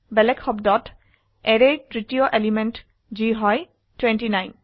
বেলেগ শব্দত arrayৰ তৃতীয় এলিমেন্ট যি হয় 29